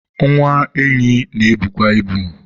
nwa enyi na-ebukwa ibu